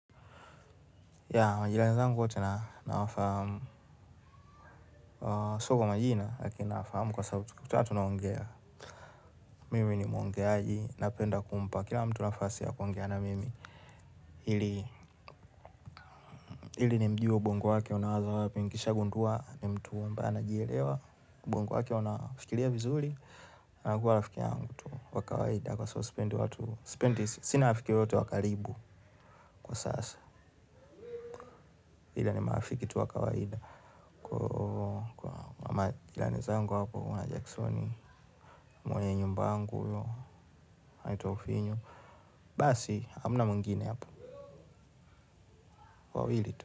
Yaa, majirani zangu wote nawa fahamu sio kwa majina, lakini nawafahamu kwa sababu tukikutana tunaongea. Mimi ni muongeaji napenda kumpa, kila mtu nafasi ya kuongea na mimi. Ili nimjue ubongo wake unawaza wapi nikisha gundua, ni mtu ambae anajielewa, ubongo wake unafikiria vizuri. Anakua rafiki yangu tu wa kawaida kwa sababu sipendi sina mtu yeyote wa karibu kwa sasa ila ni marafiki tu wa kawaida kwa majirani zangu hapo kuna Jackson. Mwenye nyumba wangu huyo anaitwa ufinyo basi hakuna mwingine hapo wawili tu.